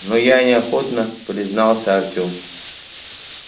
ну я неохотно признался артем